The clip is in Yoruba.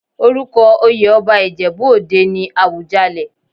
Orúko oyè ọba Ìjẹ̀bú òde ni Àwùjalẹ̀.